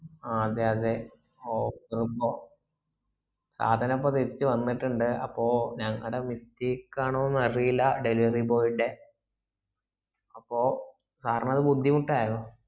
ആ അതെ തെ സദാനപ്പോ തിരിച് വന്നിട്ട്ണ്ട് അപ്പോ ഞങ്ങടെ mistake ആണാ അറീല delivery boy ന്റെ അപ്പോ sir ന്നത് ബുദ്ധിമുട്ടയോ